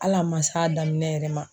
Hali a man s'a daminɛ yɛrɛ ma.